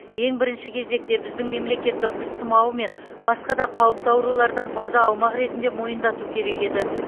ең бірінші кезекте біздің мемлекетті құс тұмауы мен басқа да қауіпті аурулардан таза аумақ ретінде мойындату керек еді